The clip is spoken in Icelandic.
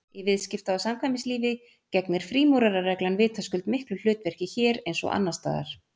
Í viðskipta- og samkvæmislífi gegnir frímúrarareglan vitaskuld miklu hlutverki hér eins og annars staðar.